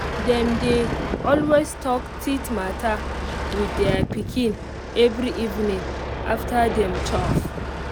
dem they always talk teeth matter with their pikin every evening after dem chop